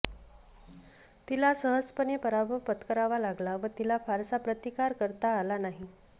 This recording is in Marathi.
तिला सहजपणे पराभव पत्करावा लागला व तिला फारसा प्रतिकार करता आला नाही